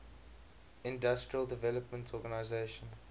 industrial development organization